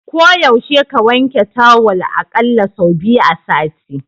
Ko yaushe ka wanke tawal a ƙalla sau biyu a sati.